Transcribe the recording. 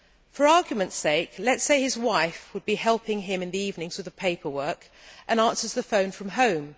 For argument's sake, let us say his wife would be helping him in the evenings with the paperwork and answering the phone from home.